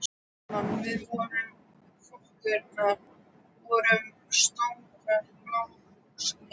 Framan við dyr forkirkjunnar voru stórar blágrýtishellur.